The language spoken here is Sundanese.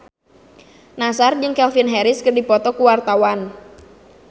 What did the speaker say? Nassar jeung Calvin Harris keur dipoto ku wartawan